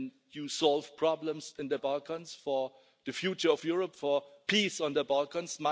You are solving problems in the Balkans for the future of Europe, for peace in the Balkans.